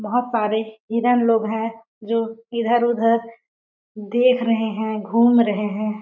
बहुत सारे हिरण लोग हैं जो इधर-उधर देख रहे हैं घूम रहे हैं --